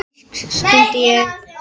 Ófrísk? stundi ég.